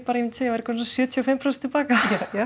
segja komin sjötíu og fimm prósent til baka